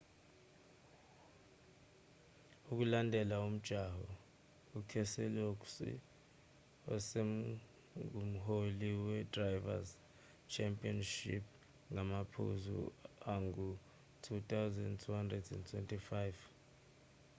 ukulandela umjaho ukeselowski usengumholi wedrivers' championship ngamaphuzu angu-2250